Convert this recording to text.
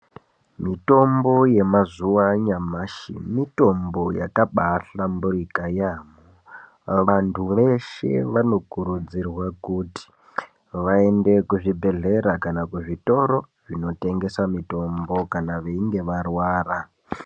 Mutombo yemazuwa anyamashi mitombo yakabatinakira yambo vantu veshe vanokurudzirwa kuti vaende kuzvibhedhleya kana kuzvitoro zvinotengese mitombo kana veinge varwara.